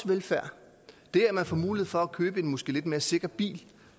velfærd det at man får mulighed for at købe en måske lidt mere sikker bil